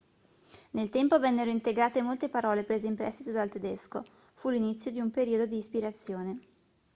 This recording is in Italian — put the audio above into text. nel tempo vennero integrate molte parole prese in prestito dal tedesco fu l'inizio di un periodo di ispirazione